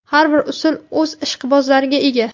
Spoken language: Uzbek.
Har bir usul o‘z ishqibozlariga ega.